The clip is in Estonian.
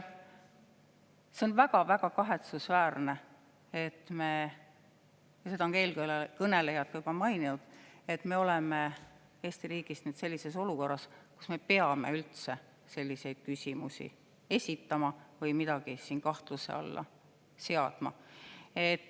See on väga-väga kahetsusväärne – seda on ka eelkõnelejad juba maininud –, et me oleme Eesti riigis sellises olukorras, kus me peame üldse selliseid küsimusi esitama või midagi siin kahtluse alla seadma.